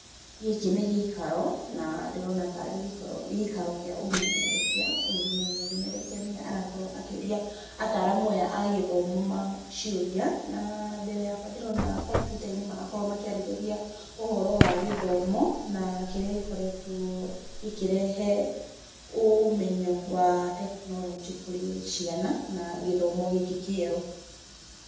Gĩkĩ nĩ gĩikaro, na ndĩrona taarĩ gĩikaro kĩa ũmemerekia. Ũyũ nĩ mũmemerekia nĩye arakorwo akĩũria ataaramu aya a gĩthimo ciũria. Na mbere yakwa ndĩrona kompiuta-inĩ marakorwo makĩarĩrĩria ũhoro wa gĩthomo, na kĩrĩa gĩkoretwo gĩkĩrehe ũmenyo wa tekinoronjĩ kũrĩ ciana na gĩthomo gĩkĩ kĩerũ.